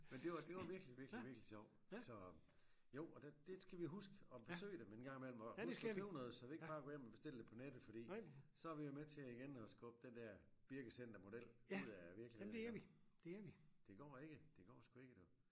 Men det var det var virkelig virkelig virkelig sjov så jo og der det skal vi huske at besøge dem en gang imellem og huske at købe noget så vi ikke bare går hjem og bestiller det på nettet fordi så er vi jo med til igen at skubbe den der birkecentermodel ud af virkeligheden iggå det går ikke det går sgu ikke du